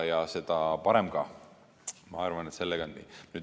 Ja seda parem ka.